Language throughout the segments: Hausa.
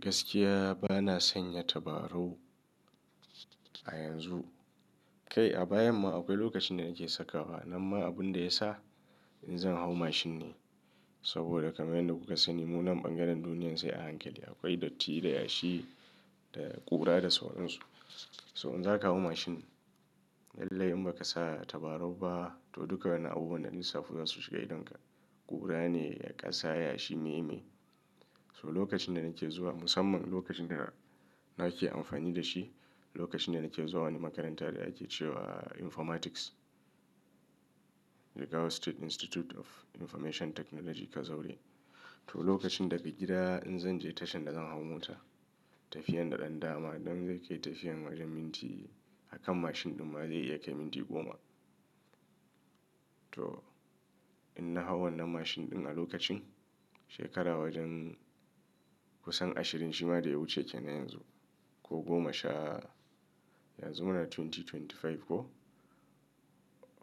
Gaskiya bana sanya tabarau a yanzu. Kai a bayan ma akwai lokacin da nake sakawa. Amma abin da ya sa in zan hau mashin ne, saboda kamar yadda kuka sani, munan bangaren duniyar sai a hankali. Akwai datti da yashi da ƙura da sauran su. So in zaka hau mashin, lallai in ba ka sa tabarau ba to duka wannan abubuwan da na lissafo za su shiga idonka. Ƙura ne, ƙasa, yashi, me, me. So lokacin da nake zuwa, musamman lokacin da nake amfani da shi, lokacin da nake zuwa wani makaranta da ake ce wa Informatics. Jigawa State Institute of Information Technology, Kazaure. To lokacin daga gida in zan je tashar da zan hau mota, tafiyan daɗaɗɗa ma idan zai kai tafiyan wajen minti, a kan mashin ɗin ma zai iya kai minti goma. To in na hau wannan mashin ɗin a lokacin, shekara wajen kusan ashirin shima da ya wuce kenan yanzu. Ko goma sha, yanzu muna dubu biyu da ashirin da biyar ko?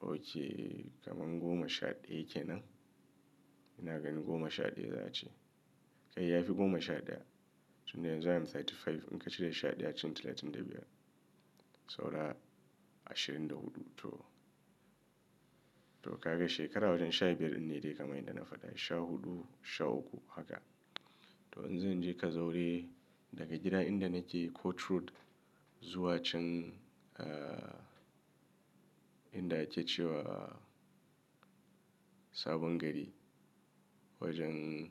Oke, kamar goma sha ɗaya kenan. Ina ganin goma sha ɗaya za a ce. Kai ya fi goma sha ɗaya. Tun da yanzu ina talatin da biyar in ka cire sha ɗaya cici talatin da biyar. Saura ashirin da huɗu to. To ka ga shekara wajen sha biyar inne dai kamai da na faɗa. Sha huɗu, sha uku haka. To in zan je Kazauri daga gida inda nake Coach Road zuwa can, eh, inda ake ce wa Sabon Gari. Wajen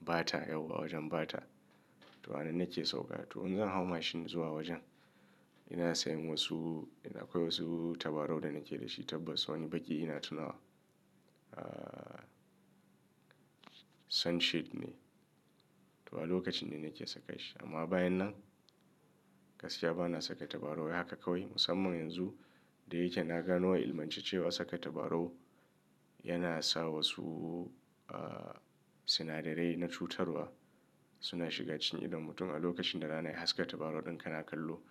Bata yau wa wajen Bata. To hana nake sauka. To in zan hau mashin zuwa wajen, ina sayan wasu, akwai wasu tabarau da nake da shi. Tabbas wani baƙi ina tunawa. Sunshade ne. To wan lokaci ne nake saka shi. Amma bayan nan, gaskiya bana saka tabarau haka kawai. Musamman yanzu, da yake na gano ya ilmantace cewa saka tabarau yana sa wasu sinadarai na cutarwa suna shiga cikin idon mutum a lokacin da rana ya haska tabarau ɗin kana kallo.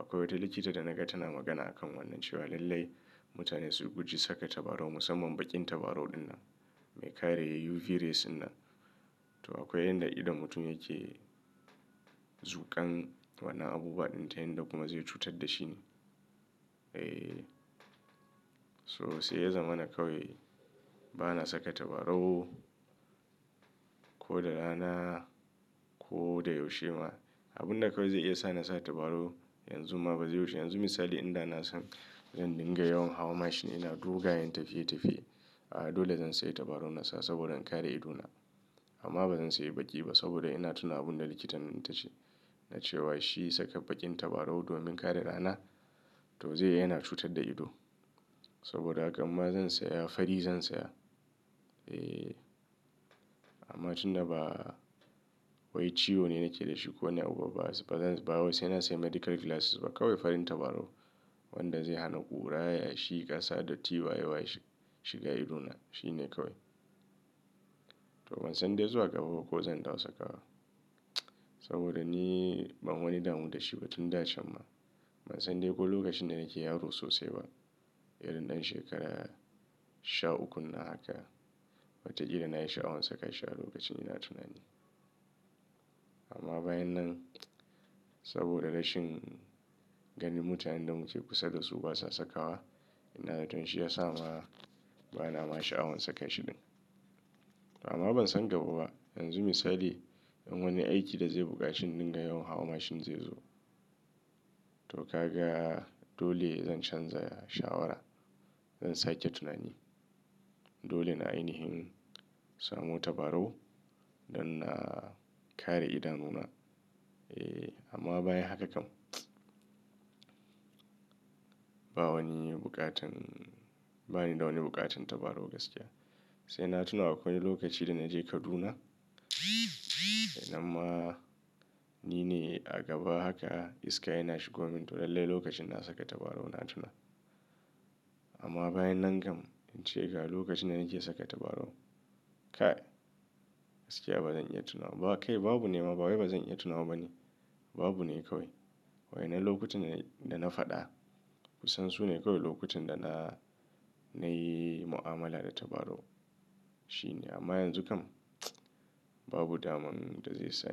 Akwai wata likita da naga tana magana a kan wannan cewa lallai mutane su guji saka tabarau musamman baƙin tabarau wannan mai kare UV rays wannan. To akwai yanda idon mutum yake zuƙan wannan abubuwa ɗinta inda kuma zai cutar da shi ne. Eh, so sai ya zama na kawai bana saka tabarau ko da rana ko da yaushe ma. Abun da kawai zai iya sa na sa tabarau yanzu ma ba zai yaushe. Yanzu misali idan na san zan dinga yawan hawa mashin ina dogayen tafiye tafiye, dole zan sayi tabarau na sa saboda in kare idona. Amma ba zan sayi baƙi ba saboda ina tuna abun da likitan tace. Na ce wa shi saka baƙin tabarau domin kare rana to zai yana cutar da ido. Saboda haka ma zan saya fari zan saya. Eh, amma tun da ba wai ciwo ne nake da shi ko wanne abu ba, ba zai, ba wai sai na sayi medical glasses ba kawai farin tabarau wanda zai hana ƙura, yashi, ƙasa datti wayewa shiga idona. Shi ne kawai. To ban san dai zuwa gaba ba ko zan dawo saka wa. Saboda ni ban wani damu da shi ba tun da can ma. Ban san dai ko lokacin da nake yaro sosai ba. Irin ɗan shekara sha uku nan haka. Wataƙila na yi sha'awan saka shi a lokacin ina tunani. Amma bayan nan saboda rashin ganin mutane da muke kusa da su ba sa saka wa, ina da tun shi ya sa ma bana ma sha'awan saka shi ɗin. Amma ban san gaba ba. Yanzu misali idan wani aiki da zai buƙaci in dinga yawan hawa mashin zai zo. To ka ga dole zan canza shawara. Zan sake tunani. Dole na ainihin samo tabarau don na kare idanuna. Eh, amma bayan haka kam, ba wani buƙatan, ba ni da wani buƙatan tabarau gaskiya. Sai na tuna akwai wani lokaci da na je Kaduna dai amma ni ne a gaba haka iska yana shigo min to lallai lokacin na saka tabarau na tuna. Amma bayan nan kam in ce ga lokacin da nake saka tabarau, kai gaskiya ba zan iya tunawa ba. Kai babu nema, ba wai ba zan iya tunawa bane. Babu ne kawai. Wai na lokutan da, da na faɗa kusan su ne kawai lokutan da na, na yi mu'amala da tabarau. Shi ne, amma yanzu kam babu daman da zai sa.